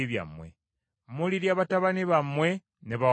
Mulirya batabani bammwe ne bawala bammwe.